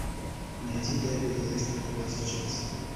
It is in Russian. найти дерби лестер против челси